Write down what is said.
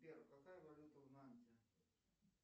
сбер какая валюта в нанте